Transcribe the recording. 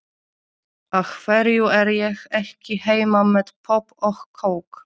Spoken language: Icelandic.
Af hverju er ég ekki heima með popp og kók?